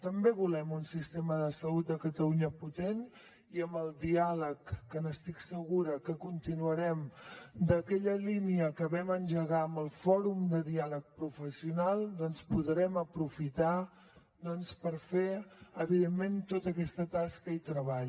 també volem un sistema de salut de catalunya potent i amb el diàleg que estic segura que continuarem d’aquella línia que vam engegar amb el fòrum de diàleg professional doncs podrem aprofitar per fer evidentment tota aquesta tasca i treball